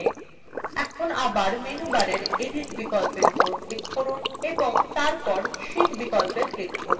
এখন bar menu bar edit বিকল্প উপর click করুন এবং তারপর sheet বিকল্পএ click করুন